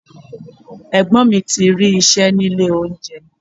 Ẹ̀gbọ́n mi ti rí iṣẹ́ ní ilé oúnjẹ.